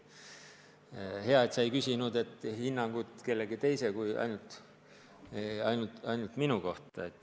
Hea, et sa ei küsinud hinnangut kellegi teise kui ainult minu kohta.